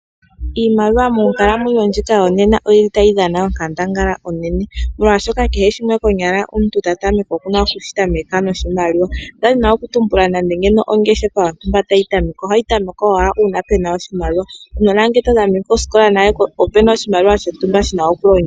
Iimaliwa monkalamwenyo ndjika yo nena oyili ta yi dhana onkandangala unene molwaashoka kehe shimwe konyala omuntu ta tameke okuna oku shi tameka noshimaliwa ngaaashi ongeshefa yontumba tayi tamekwa oha yi tamekwa owala uuna pe na oshimaliwa. Uunona ngele tawu tameke osikola o pena oshimaliwa shontumba shi na okulongithwa.